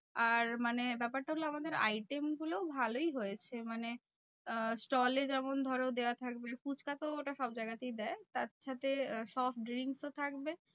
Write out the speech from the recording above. আর মানে ব্যাপারটা হলো আমাদের item গুলো ভালোই হয়েছে। মানে আহ stall এ যেমন ধরো দেওয়া থাকবে ফুচকা তো ওটা সবজায়গা তেই দেয় তার সাথে soft drinks ও থাকবে।